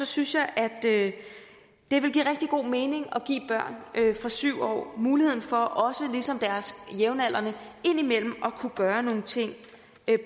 synes jeg at det vil give rigtig god mening at give børn fra syv år muligheden for også ligesom deres jævnaldrende indimellem at kunne gøre nogle ting